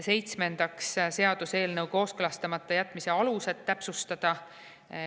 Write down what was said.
Seitsmendaks, seaduseelnõu kooskõlastamata jätmise aluste täpsustamine.